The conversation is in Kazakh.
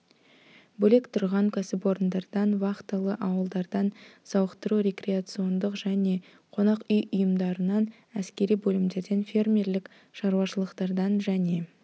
бөлек тұрған кәсіпорындардан вахталы ауылдардан сауықтыру-рекреациондық және қонақ үй ұйымдарынан әскери бөлімдерден фермерлік шаруашылықтардан және